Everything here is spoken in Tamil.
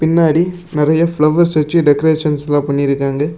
பின்னாடி நெரிய பிலவஸ் வச்சி டெகரேஷன்ஸ்லாம் பண்ணிருக்காங்க.